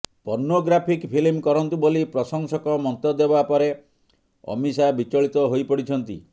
pornographic film କରନ୍ତୁ ବୋଲି ପ୍ରଶଂସକ ମନ୍ତବ୍ୟ ଦେବା ପରେ ଅମୀଷା ବିଚଳିତ ହୋଇପଡ଼ିଛନ୍ତି